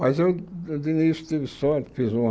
Mas eu, de início, tive sorte, fiz uma...